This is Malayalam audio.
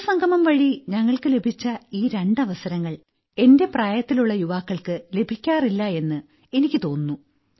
യുവസംഗമം വഴി ഞങ്ങൾക്ക് ലഭിച്ച ഈ രണ്ട് അവസരങ്ങൾ എന്റെ പ്രായത്തിലുള്ള യുവാക്കൾക്ക് ലഭിക്കാറില്ല എന്ന് എനിയ്ക്ക് തോന്നുന്നു